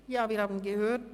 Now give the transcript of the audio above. Wir haben es gehört: